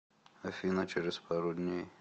афина через пару дней